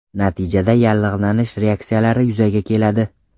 Natijada yallig‘lanish reaksiyalari yuzaga keladi.